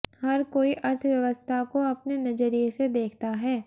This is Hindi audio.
हर कोई अर्थव्यवस्था को अपने नजरिए से देखता है